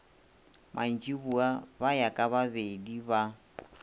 mantšiboa ba ya kabababedi ba